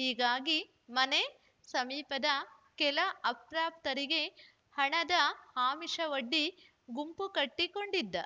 ಹೀಗಾಗಿ ಮನೆ ಸಮೀಪದ ಕೆಲ ಅಪ್ರಾಪ್ತರಿಗೆ ಹಣದ ಆಮಿಷವೊಡ್ಡಿ ಗುಂಪು ಕಟ್ಟಿಕೊಂಡಿದ್ದ